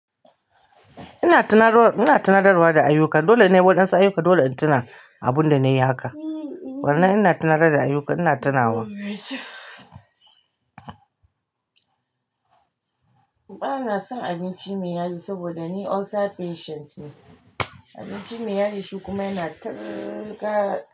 Ina tunatarwa, ina tunatarwa da ayuka. Dole ne wadansu ayuka dole in tuna abun da na yi haka. Wane ina tunatar da ayuka ina tunawa. Uba na son abinci mai yaji saboda ni ulcer patient ne. Abinci mai yaji shukumi na tarka.